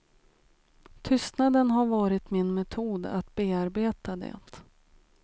Tystnaden har varit min metod att bearbeta det.